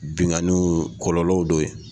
Binganniw kɔlɔlɔw dɔ ye.